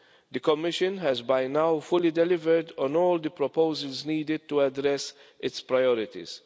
The Commission has by now fully delivered on all the proposals needed to address its priorities.